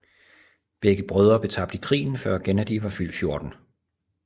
Begge brødre blev tabt i krigen før Gennady var fyldt 14